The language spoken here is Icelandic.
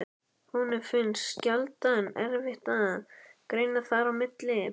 Honum finnst sjaldan erfitt að greina þar á milli.